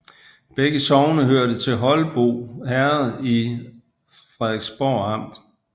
Begge sogne hørte til Holbo Herred i Frederiksborg Amt